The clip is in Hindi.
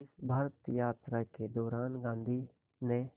इस भारत यात्रा के दौरान गांधी ने